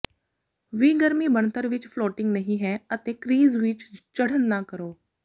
ਵੀ ਗਰਮੀ ਬਣਤਰ ਵਿੱਚ ਫਲੋਟਿੰਗ ਨਹੀ ਹੈ ਅਤੇ ਕ੍ਰੀਜ਼ ਵਿੱਚ ਚੜ੍ਹਨ ਨਾ ਕਰੋ